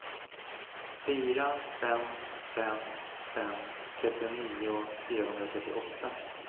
fyra fem fem fem trettionio fyrahundratrettioåtta